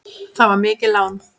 Það var mikið lán.